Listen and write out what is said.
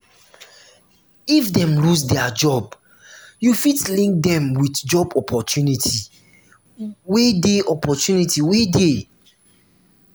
if dem losse their job you fit link them with job opportunity wey dey opportunity wey dey